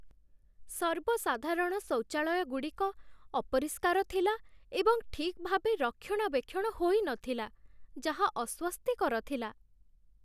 ସର୍ବସାଧାରଣ ଶୌଚାଳୟଗୁଡ଼ିକ ଅପରିଷ୍କାର ଥିଲା ଏବଂ ଠିକ୍ ଭାବେ ରକ୍ଷଣାବେକ୍ଷଣ ହୋଇନଥିଲା, ଯାହା ଅସ୍ଵସ୍ତିକର ଥିଲା।